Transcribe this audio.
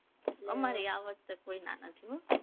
અમારે ય આ વખતે કોઈના નથી હો